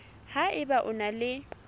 ha eba o na le